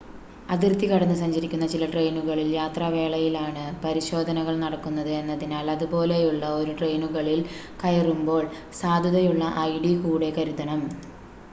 അതിർത്തി കടന്ന് സഞ്ചരിക്കുന്ന ചില ട്രെയിനുകളിൽ യാത്രാവേളയിലാണ് പരിശോധനകൾ നടക്കുന്നത് എന്നതിനാൽ അതുപോലെയുള്ള 1 ട്രെയിനുകളിൽ കയറുമ്പോൾ സാധുതയുള്ള id കൂടെ കരുതണം